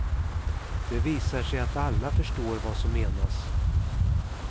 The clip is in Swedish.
Det visar sig att alla förstår vad som menas.